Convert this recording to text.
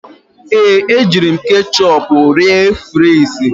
Ee, ejiri m ketchịupụ rie frịsị.